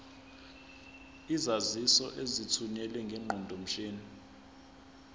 izaziso ezithunyelwe ngeqondomshini